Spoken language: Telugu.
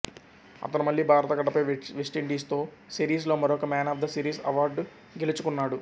అతను మళ్ళీ భారత గడ్డపై వెస్టిండీస్తో సిరీస్లో మరొక man of the series award గెలుచుకున్నాడు